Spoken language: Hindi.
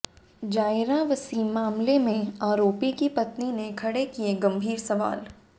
जायरा वसीम मामले में आरोपी की पत्नी ने खड़े किए गंभीर सवाल